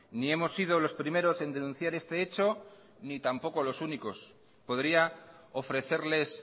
ni hemos sido los primeros en denunciar este hecho ni tampoco los únicos podría ofrecerles